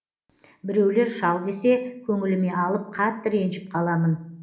біреулер шал десе көңіліме алып қатты ренжіп қаламын